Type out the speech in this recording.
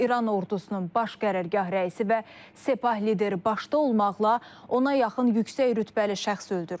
İran ordusunun baş qərargah rəisi və Sepah lideri başda olmaqla ona yaxın yüksək rütbəli şəxs öldürülüb.